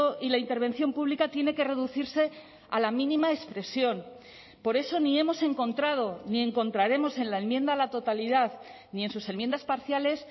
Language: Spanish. y la intervención pública tiene que reducirse a la mínima expresión por eso ni hemos encontrado ni encontraremos en la enmienda a la totalidad ni en sus enmiendas parciales